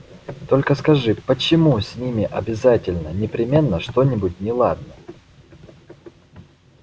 только скажи почему с ними обязательно непременно что-нибудь неладно